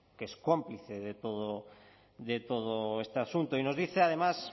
que es cómplice de todo este asunto y nos dice además